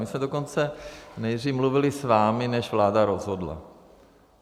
My jsme dokonce nejdříve mluvili s vámi, než vláda rozhodla.